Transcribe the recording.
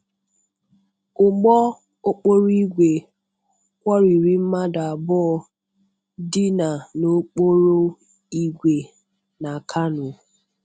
Ụgbọ okporo ìgwè kwọriri mmadụ abụọ dina n' okporo ìgwè na Kano.